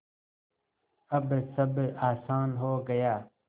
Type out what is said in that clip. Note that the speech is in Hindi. अब सब आसान हो गया